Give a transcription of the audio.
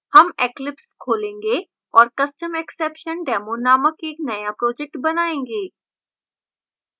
हम eclipse खोलेंगे और customexceptiondemo नामक एक now project बनायेंगे